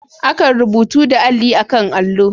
Akan rubutu da Alli a'kan allo.